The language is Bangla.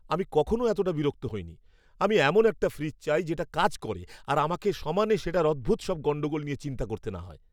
আমি কখনও এতটা বিরক্ত হইনি। আমি এমন একটা ফ্রিজ চাই যেটা কাজ করে আর আমাকে সমানে সেটার অদ্ভুত সব গণ্ডগোল নিয়ে চিন্তা করতে না হয়!